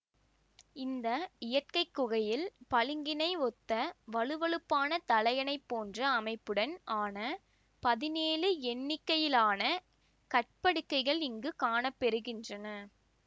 இந்த இயற்கைக்குகையில் பளிங்கினை ஒத்த வழுவழுப்பான தலையணை போன்ற அமைப்புடன் ஆன பதினேழு எண்ணிக்கையிலான கற்படுக்கைகள் இங்கு காணப்பெறுகின்றன